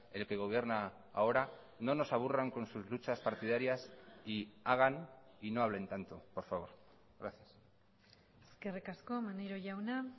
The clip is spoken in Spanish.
el que gobierna ahora no nos aburran con sus luchas partidarias y hagan y no hablen tanto por favor gracias eskerrik asko maneiro jauna